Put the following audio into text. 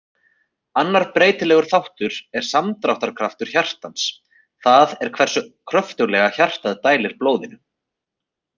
Annar breytilegur þáttur er samdráttarkraftur hjartans, það er hversu kröftuglega hjartað dælir blóðinu.